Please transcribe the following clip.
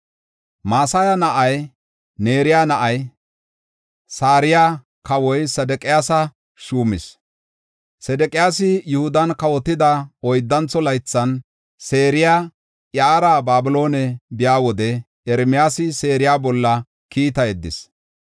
Maseya na7aa, Neera na7ay Sarayi kawa Sedeqiyaasa shuuma. Sedeqiyaasi Yihudan kawotida oyddantho laythan, Sarayi iyara Babiloone biya wode Ermiyaasi Saraya bolla kiita yeddis.